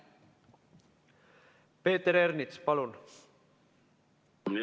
Peeter Ernits, palun!